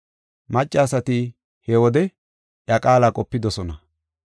Maccasati he wode iya qaala qopidosona.